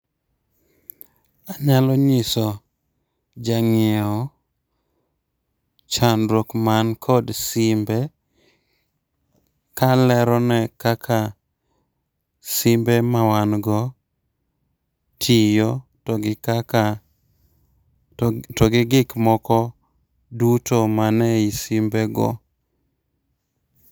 Anyalo nyiso jang'iewo chandruok man kod simbe kalero ne kaka simbe ma wan go tiyo, to gi kaka to gi gik moko duto man ei simbe go .